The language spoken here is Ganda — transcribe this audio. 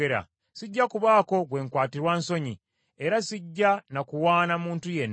Sijja kubaako gwe nkwatirwa nsonyi, era sijja na kuwaana muntu yenna.